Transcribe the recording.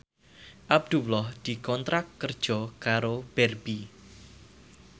Abdullah dikontrak kerja karo Barbie